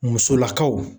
Musolakaw